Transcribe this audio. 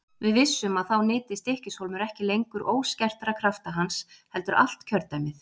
Við vissum að þá nyti Stykkis- hólmur ekki lengur óskertra krafta hans heldur allt kjördæmið.